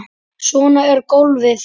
Svona er golfið.